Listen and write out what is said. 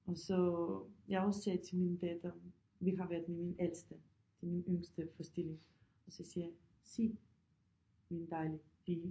Og så jeg også sagde til min datter vi har været med min ældste til min yngste forestilling og så siger jeg se min dejlige pige